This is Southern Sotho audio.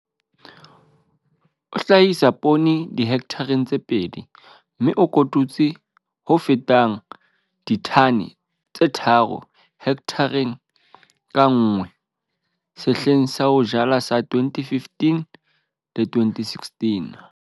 O hlahisa poone dihekthareng tse pedi, mme o kotutse ho fetang ditone tse tharo hekthareng ka nngwe sehleng sa ho jala sa 2015-2016.